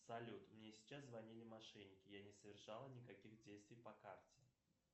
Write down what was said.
салют мне сейчас звонили мошенники я не совершал никаких действий по карте